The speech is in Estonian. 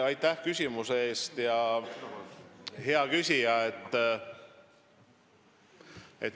Aitäh küsimuse eest, hea küsija!